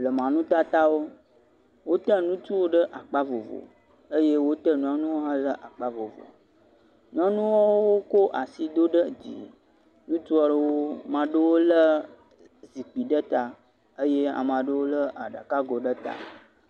Blema nutatawo. Wote ŋutsuwo ɖe akpa vovo eye wote nyɔnuwo hã ɖe akpa vovo. Nyɔnuwo kɔ asi da ɖe dzi. Ŋutsu aɖewo. Ame aɖe le gbalẽ ɖe ta.